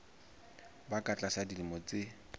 ba ka tlasa dilemo tse